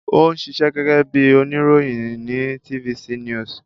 Ó ń ṣiṣẹ́ gẹ́gẹ́ bí oníròyìn ní TVC news